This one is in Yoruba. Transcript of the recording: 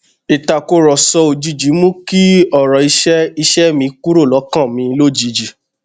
ìtàkùrọsọ òjijì mú kí ọrọ iṣẹ iṣẹ mi kúrò lọkàn mi lójijì